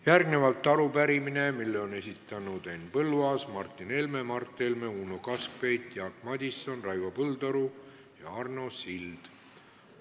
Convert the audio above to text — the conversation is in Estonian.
Järgnevalt arupärimine, mille on esitanud Henn Põlluaas, Martin Helme, Mart Helme, Uno Kaskpeit, Jaak Madison, Raivo Põldaru ja Arno Sild.